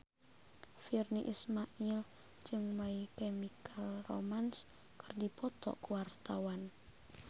Virnie Ismail jeung My Chemical Romance keur dipoto ku wartawan